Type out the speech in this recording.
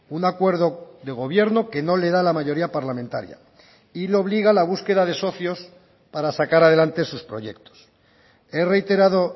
un acuerdo de gobierno que no le da la mayoría parlamentaria y le obliga a la búsqueda de socios para sacar adelante sus proyectos he reiterado